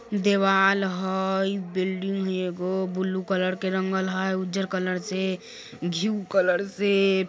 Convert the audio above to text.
देवाल हय बिल्डिंग हय एगो ब्लू कलर के रंगल हय उज्जर कलर से कलर से।